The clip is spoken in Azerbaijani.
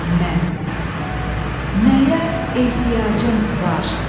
Mən, nəyə ehtiyacın var?